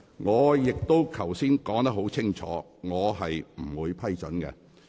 我剛才已經說得很清楚，我不會批准有關議案。